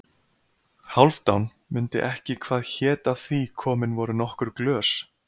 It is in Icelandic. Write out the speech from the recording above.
Hálfdán mundi ekki hvað hét af því komin voru nokkur glös.